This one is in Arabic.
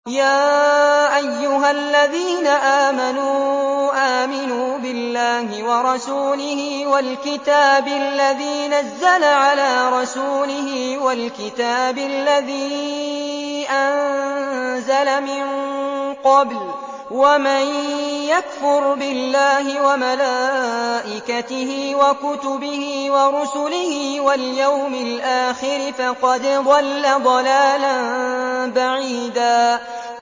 يَا أَيُّهَا الَّذِينَ آمَنُوا آمِنُوا بِاللَّهِ وَرَسُولِهِ وَالْكِتَابِ الَّذِي نَزَّلَ عَلَىٰ رَسُولِهِ وَالْكِتَابِ الَّذِي أَنزَلَ مِن قَبْلُ ۚ وَمَن يَكْفُرْ بِاللَّهِ وَمَلَائِكَتِهِ وَكُتُبِهِ وَرُسُلِهِ وَالْيَوْمِ الْآخِرِ فَقَدْ ضَلَّ ضَلَالًا بَعِيدًا